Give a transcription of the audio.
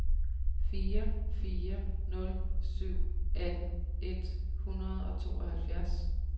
fire fire nul syv atten et hundrede og tooghalvfjerds